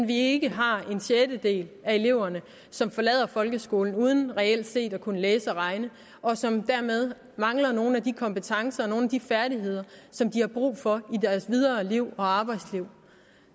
vi ikke har en sjettedel af eleverne som forlader folkeskolen uden reelt set at kunne læse og regne og som dermed mangler nogle af de kompetencer og nogle af de færdigheder som de har brug for i deres videre liv og arbejdsliv